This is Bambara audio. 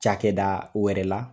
Cakɛ da wɛrɛ la